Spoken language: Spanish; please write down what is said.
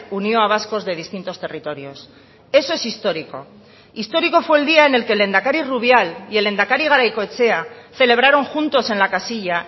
unió a vascos de distintos territorios eso es histórico histórico fue el día en el que el lehendakari rubial y el lehendakari garaikoetxea celebraron juntos en la casilla